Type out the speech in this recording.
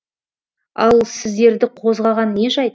ал сіздерді қозғаған не жайт